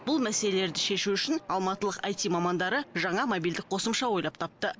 бұл мәселелерді шешу үшін алматылық айти мамандары жаңа мобильдік қосымша ойлап тапты